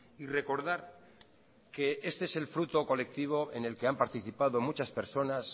y recordar que este es el fruto colectivo en el que han participado muchas personas